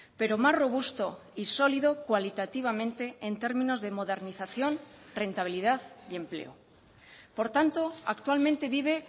pero más robusto y sólido cualitativamente en términos de modernización rentabilidad y empleo por tanto actualmente vive